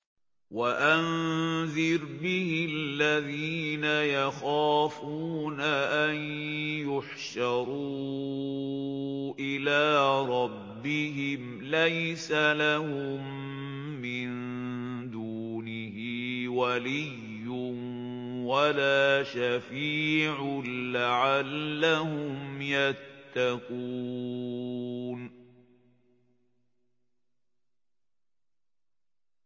وَأَنذِرْ بِهِ الَّذِينَ يَخَافُونَ أَن يُحْشَرُوا إِلَىٰ رَبِّهِمْ ۙ لَيْسَ لَهُم مِّن دُونِهِ وَلِيٌّ وَلَا شَفِيعٌ لَّعَلَّهُمْ يَتَّقُونَ